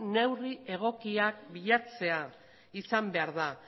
neurri egokiak bilatzea izan behar da